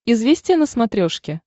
известия на смотрешке